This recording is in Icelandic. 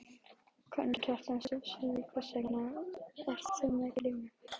Karen Kjartansdóttir: Og hvers vegna ert þú með grímu?